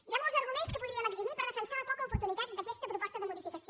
hi ha molts arguments que podríem exhibir per defensar la poca oportunitat d’aquesta proposta de modificació